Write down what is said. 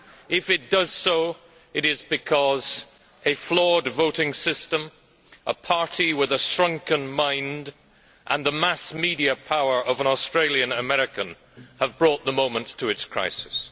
If it does so, it is because a flawed voting system, a party with a shrunken mind and the mass media power of an Australian American have brought the moment to its crisis.